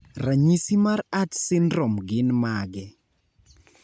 ranyisi mar Ats sindrom gin mage?